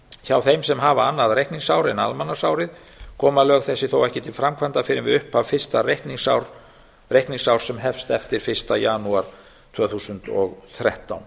hjá þeim sem hafa annað reikningsár en almanaksárið koma lög þessi þó ekki til framkvæmda fyrr en við upphaf fyrsta reikningsárs sem hefst eftir fyrsta janúar tvö þúsund og þrettán